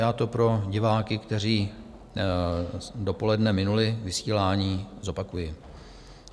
Já to pro diváky, kteří dopoledne minuli vysílání, zopakuji.